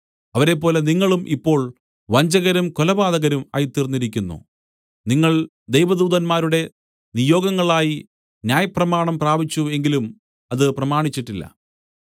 അവരെപ്പോലെ നിങ്ങളും ഇപ്പോൾ വഞ്ചകരും കൊലപാതകരും ആയിത്തീർന്നിരിക്കുന്നു നിങ്ങൾ ദൈവദൂതന്മാരുടെ നിയോഗങ്ങളായി ന്യായപ്രമാണം പ്രാപിച്ചു എങ്കിലും അത് പ്രമാണിച്ചിട്ടില്ല